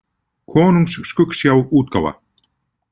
Konungs skuggsjá, útgáfa